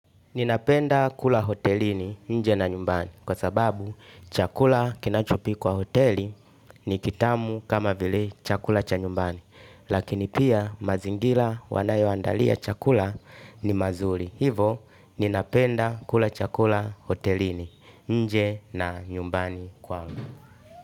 Ninapenda kula hotelini nje na nyumbani kwa sababu chakula kinachopikwa hoteli ni kitamu kama vile chakula cha nyumbani. Lakini pia mazingira wanayoandalia chakula ni mazuri. Hivo ninapenda kula chakula hotelini nje na nyumbani kwangu.